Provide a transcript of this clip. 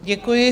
Děkuji.